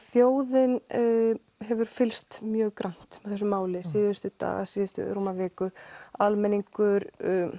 þjóðin hefur fylgst mjög grannt með þessu máli síðustu daga síðustu rúma viku almenningur